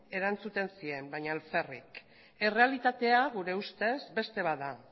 erantzuten zien baina alferrik errealitatea gure ustez beste bat da